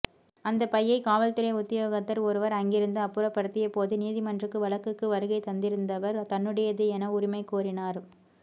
அந்தப் பையை காவல்துறை உத்தியோகத்தர் ஒருவர் அங்கிருந்து அப்புறப்படுத்தியபோது நீதிமன்றுக்கு வழக்குக்கு வருகை தந்திருந்தவர் தன்னுடையது என உரிமை கோரினார்